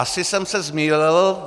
Asi jsem se zmýlil.